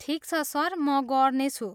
ठिक छ सर, म गर्नेछु।